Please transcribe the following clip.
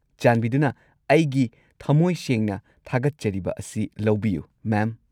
ꯆꯥꯟꯕꯤꯗꯨꯅ ꯑꯩꯒꯤ ꯊꯃꯣꯏꯁꯦꯡꯅ ꯊꯥꯒꯠꯆꯔꯤꯕ ꯑꯁꯤ ꯂꯧꯕꯤꯌꯨ, ꯃꯦꯝ!